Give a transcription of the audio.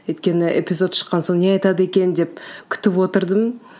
өйткені эпизод шыққан соң не айтады екен деп күтіп отырдым